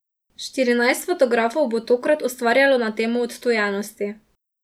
Štirinajst fotografov bo tokrat ustvarjalo na temo Odtujenosti.